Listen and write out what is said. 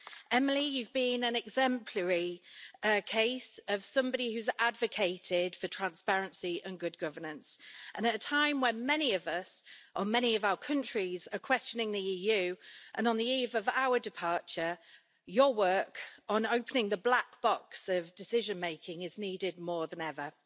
Emily, you've been an exemplary case of somebody who has advocated for transparency and good governance and, at a time when many of us or many of our countries are questioning the EU, and on the eve of our departure, your work on opening the black box of decision-making is needed more than ever.